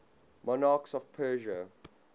monarchs of persia